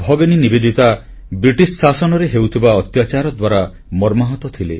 ଭଗିନୀ ନିବେଦିତା ବ୍ରିଟିଶ ଶାସନରେ ହେଉଥିବା ଅତ୍ୟାଚାର ଦ୍ୱାରା ମର୍ମାହତ ଥିଲେ